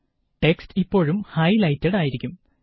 text ഇപ്പോഴും highlighted ആയിരിയ്ക്കും